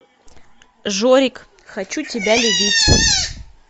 жорик хочу тебя любить